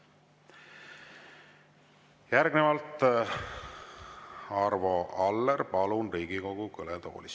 Järgnevalt Arvo Aller, palun Riigikogu kõnetooli.